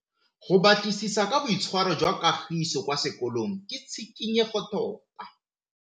Go batlisisa ka boitshwaro jwa Kagiso kwa sekolong ke tshikinyêgô tota.